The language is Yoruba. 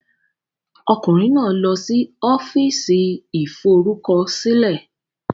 Ọkùnrin náà lọ sí Ọ́fíìsì Ìforúkọsílẹ̀.